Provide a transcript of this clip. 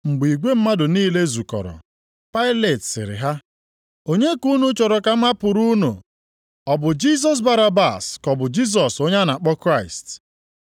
Mgbe igwe mmadụ niile zukọrọ, Pailet sịrị ha, “Onye ka unu chọrọ ka m hapụrụ unu, ọ bụ Jisọs Barabas ka ọ bụ Jisọs onye a na-akpọ Kraịst?”